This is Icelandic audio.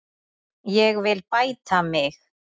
Ég vil bæta mig.